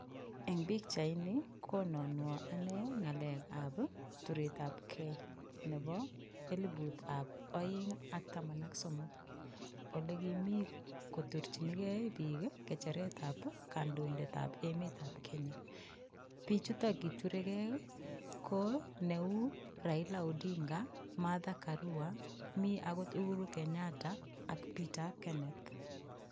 Eng pichaini konanuo anne ngalekab ii turetabei nebo eliputab aeng ak taman ak somok. Olegimi kotorchinigei biik ii ngecheretab kandindetab emetab Kenya. Biichuto kituregei ko neu Raila Odinga, Martha Karua, mi agot Uhuru Kenyatta ak Peter Keneth.